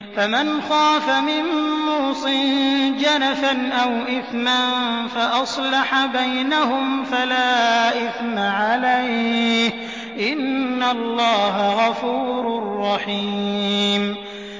فَمَنْ خَافَ مِن مُّوصٍ جَنَفًا أَوْ إِثْمًا فَأَصْلَحَ بَيْنَهُمْ فَلَا إِثْمَ عَلَيْهِ ۚ إِنَّ اللَّهَ غَفُورٌ رَّحِيمٌ